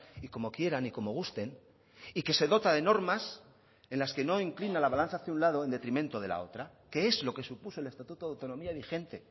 y como quieran y como gusten y que se dota de normas en las que no inclina la balanza hacia un lado en detrimento de la otra que es lo que supuso el estatuto de autonomía vigente